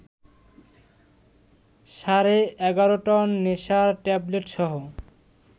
সাড়ে ১১ টন নেশার ট্যাবলেটসহ